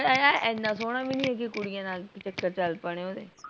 ਆਏ ਹਾਏ ਇਹਨਾਂ ਸੋਹਣਾ ਵੀ ਨਹੀਂ ਹੈ ਕੇ ਕੁੜੀਆ ਨਾਲ ਚੱਕਰ ਚੱਲ ਪੈਣੇ ਉਹਦੇ